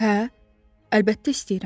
Hə, əlbəttə istəyirəm.